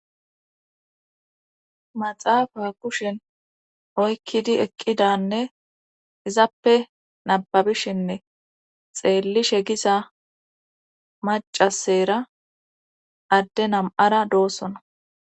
maxaafa kushen oykkidi eqqidanne izappe nababishinne xeellishe gisa macasera adde nam7ara doossona